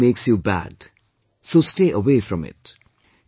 Cheating makes you bad, so stay away from it